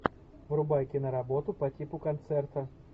врубай киноработу по типу концерта